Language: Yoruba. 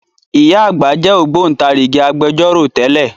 Ìyá àgbà jẹ́ Ògbóntarìgì Agbẹjọ́rò tẹ́lẹ̀